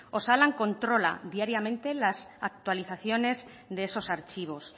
osalan controla diariamente las actualizaciones de esos archivos